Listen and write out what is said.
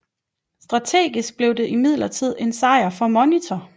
Strategisk blev det imidlertid en sejr for Monitor